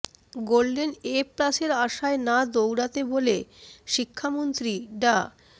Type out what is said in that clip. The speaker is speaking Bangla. গোল্ডেন এ প্লাসের আশায় না দৌড়াতে বলে শিক্ষামন্ত্রী ডা